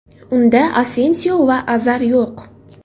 Unda Asensio va Azar yo‘q.